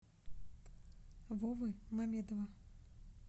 вовы мамедова